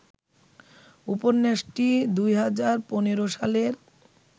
উপন্যাসটি ২০১৫ সালের